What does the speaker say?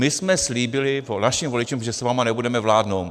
My jsme slíbili našim voličům, že s vámi nebudeme vládnout.